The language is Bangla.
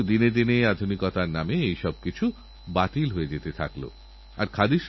গবেষণাও আবিষ্কার যদি না হয় তাহলে জমে থাকা জল যেমন দুর্গন্ধ ছড়ায় তেমনি প্রযুক্তিওবোঝা হয়ে ওঠে